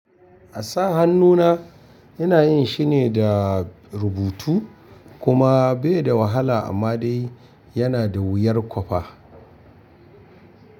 A sa hannuna ina yin shine da rubutu kuma bai da wahala amma dai yana da wuyar kwafa.